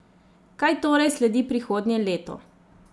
Kaj torej sledi prihodnje leto?